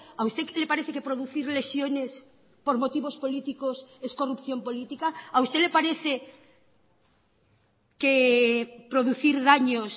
a usted le parece que producir lesiones por motivos políticos es corrupción política a usted le parece que producir daños